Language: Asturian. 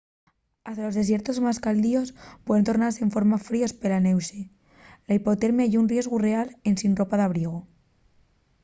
hasta los desiertos más caldios puen tornase enforma fríos pela nueche. la hipotermia ye un riesgu real ensin ropa d’abrigu